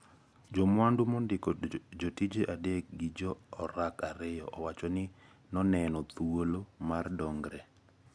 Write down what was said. Jamwandu mondiko jotije adek gi jo orak ariyo owacho ni noneno thuolo mar dongre.